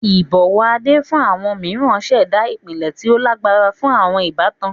Ibọwọ Ade fun awọn miiran ṣẹda ipilẹ ti o lagbara fun awọn ibatan.